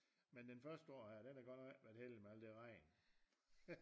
Men den første år her den har godt nok ikke været heldig med alt det regn